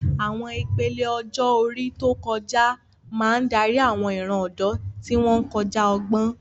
Àwọn ìpele ọjọ́ orí tó ti kọjá máa ń darí àwọn ìran ọ̀dọ́, tí wọ́n ń kọjá ọgbọ́n.